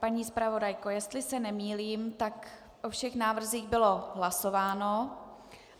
Paní zpravodajko, jestli se nemýlím, tak o všech návrzích bylo hlasováno.